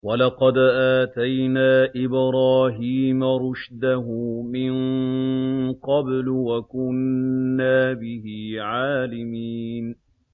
۞ وَلَقَدْ آتَيْنَا إِبْرَاهِيمَ رُشْدَهُ مِن قَبْلُ وَكُنَّا بِهِ عَالِمِينَ